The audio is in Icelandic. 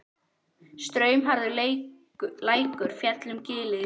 Straumharður lækur féll um gilið þvert.